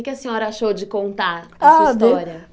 O que a senhora achou de contar a sua história? Ah